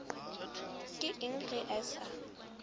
ke eng ge a sa